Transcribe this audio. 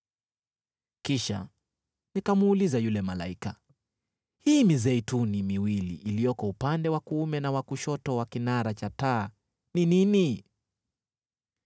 Kisha nikamuuliza yule malaika, “Hii mizeituni miwili iliyoko upande wa kuume na wa kushoto wa kinara cha taa ni nini?”